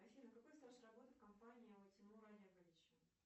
афина какой стаж работы в компании у тимура олеговича